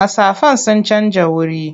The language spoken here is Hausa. Mastafan sun canja wuri.